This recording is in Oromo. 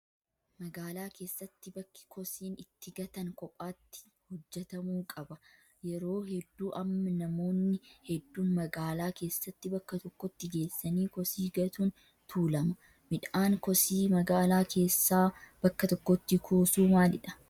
Magaalaa keessatti bakki kosiin itti gatan kophaatti hojjatamuu qaba. Yeroo hedduu amma namoonni hedduun magaalaa keessatti bakka tokkotti geessanii kosii gatuun tuulama. Miidhaan kosii magaalaa keessaa bakka tokkotti kuusuu maalidhaa?